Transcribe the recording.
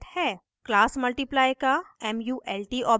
class multiply का mult object